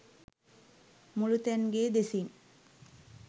මුළුතැන් ගේ දෙසින්